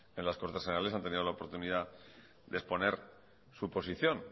en las cortes generales han tenido la oportunidad de exponer su posición